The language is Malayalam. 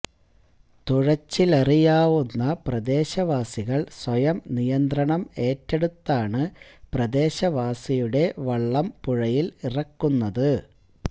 തുഴച്ചിലറിയാവുന്ന പ്രദേശവാസികൾ സ്വയം നിയന്ത്രണം ഏറ്റെടുത്താണ് പ്രദേശവാസിയുടെ വള്ളം പുഴയിൽ ഇറക്കുന്നത്